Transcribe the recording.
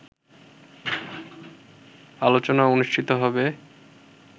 আলোচনা অনুষ্ঠিত হবে